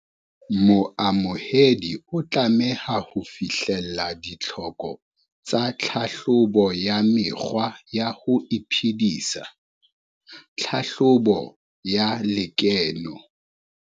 Moamohedi o tlameha ho fihlella ditlhoko tsa tlhahlobo ya mekgwa ya ho iphedisa, tlhahlobo ya lekeno.